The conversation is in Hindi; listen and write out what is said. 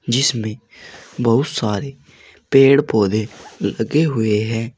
जिसमें बहोत सारे पेड़ पौधे लगे हुए हैं।